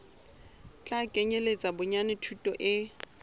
tla kenyeletsa bonyane thuto e